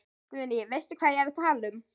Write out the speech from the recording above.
Guðný: Veistu hvað ég er að tala um?